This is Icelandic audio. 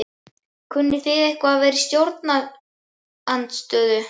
Kunnið þið eitthvað að vera í stjórnarandstöðu?